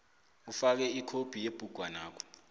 ufake ikhophi yebhugwanakho